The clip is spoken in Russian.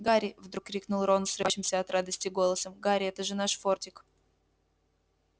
гарри вдруг крикнул рон срывающимся от радости голосом гарри это же наш фордик